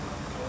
Gedək.